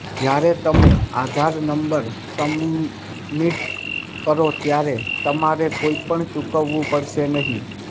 જયારે તમે Aadhaar number submit કરો ત્યારે તમારે કંઇપણ ચુકવવું પડશે નહીં